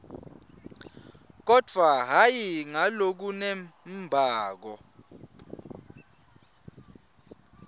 kodvwa hhayi ngalokunembako